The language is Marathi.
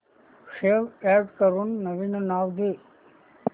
सेव्ह अॅज करून नवीन नाव दे